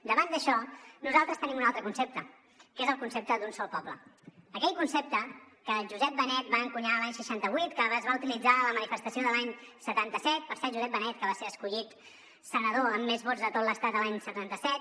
davant d’això nosaltres tenim un altre concepte que és el concepte d’ un sol poble aquell concepte que josep benet va encunyar l’any seixanta vuit que es va utilitzar a la manifestació de l’any setanta set per cert josep benet que va ser escollit senador amb més vots de tot l’estat l’any setanta set